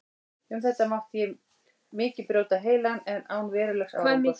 Um þetta mátti ég mikið brjóta heilann, en án verulegs árangurs.